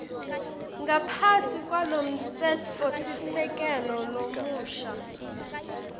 ngaphasi kwalomtsetfosisekelo lomusha